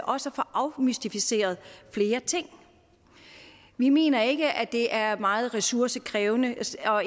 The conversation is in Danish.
også få afmystificeret flere ting vi mener ikke at det er meget ressourcekrævende